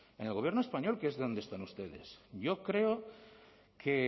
en el gobierno español que es donde están ustedes yo creo que